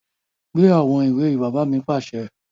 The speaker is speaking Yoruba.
Gbé àwọn ìwé yìí! Bàbá mi pàṣẹ